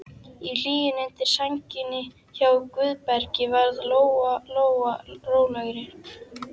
Í hlýjunni undir sænginni hjá Guðbergi varð Lóa Lóa rólegri.